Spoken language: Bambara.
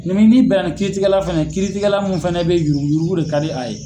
n'i bɛn na ni kiiri tigɛ la fana ye kiiri tigɛ la min fana bɛ ye yurugu yurugu de ka di a ye.